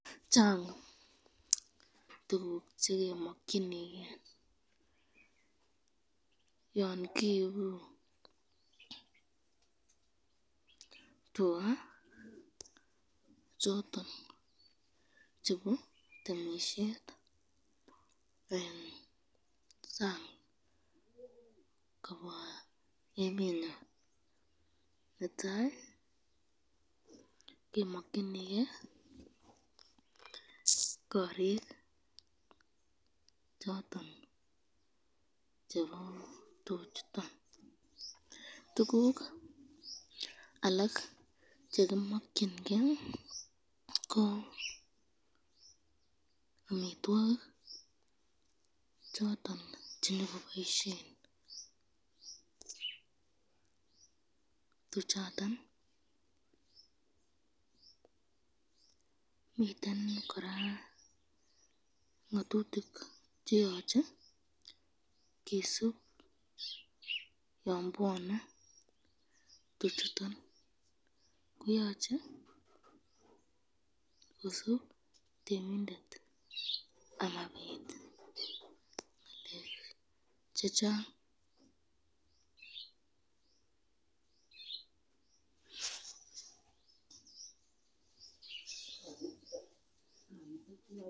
Chang tukuk chekimakyinike yon kiibu tuka choton chebo temisyet eng sang kobwa emenyon , netai kemakyinike korik choton chebo tuc